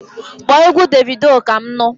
Kpọọ égwu Davido Kam nu!